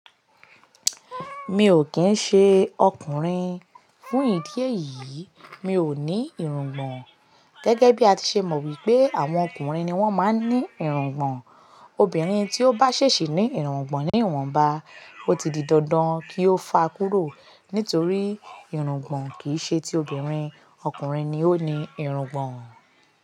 Mi ò kín ń ṣe ọkùnrin, fún ìdí èyí mi ò ní irungbọ̀n. Gẹ́gẹ́ bí a ti ṣe mọ wípé àwọn ọkùnrin ni wón máa ń ní irungbọ̀n. Obìnrin tí ó bá ṣèṣì ní irungbọ̀n ní ìwọ̀nba, ó ti di dandan kí ó fà á kúrò nítorí irungbọ̀n kì í ṣe ti obìnrin, ọkùnrin ni ó ní irungbọ̀n.